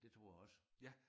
Det tror jeg også